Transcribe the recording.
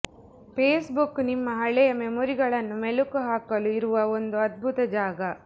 face book ನಿಮ್ಮ ಹಳೆಯ ಮೆಮೊರಿಗಳನ್ನು ಮೆಲುಕು ಹಾಕಲು ಇರುವ ಒಂದು ಅಧ್ಬುತ ಜಾಗ